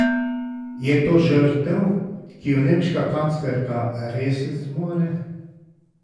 Je to žrtev, ki jo nemška kanclerka res zmore?